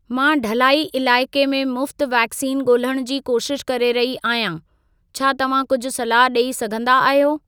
मां ढलाई इलाइक़े में मुफ़्त वैक्सीन ॻोल्हण जी कोशिश करे रही आहियां। छा तव्हां कुझु सलाह ॾेई सघंदा आहियो?